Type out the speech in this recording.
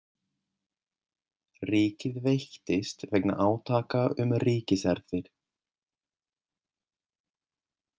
Ríkið veiktist vegna átaka um ríkiserfðir.